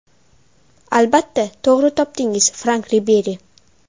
Albatta, to‘g‘ri topdingiz Frank Riberi.